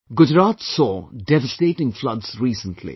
Gujarat saw devastating floods recently